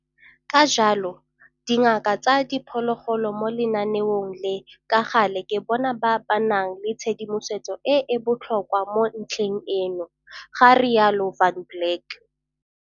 Ka jalo, dingaka tsa diphologolo mo lenaneong le ka gale ke bona ba ba nang le tshedimosetso e e botlhokwa mo ntlheng eno, ga rialo Van Blerk.